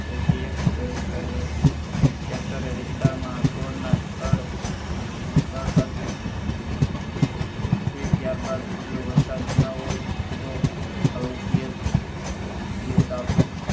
રેતી એક તરે ઍક તરે વિસ્તાર માં સોડ ના થડ પાસે સૂકવી ત્યાર બાદ જો વરસાદ ના હોય તો રોપીએ